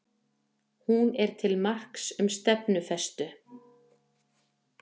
Hún er til marks um stefnufestu